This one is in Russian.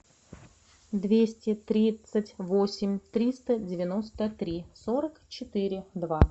двести тридцать восемь триста девяносто три сорок четыре два